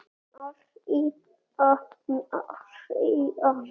María, María.